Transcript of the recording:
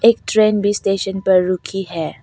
एक ट्रेन भी स्टेशन पर रुकी है।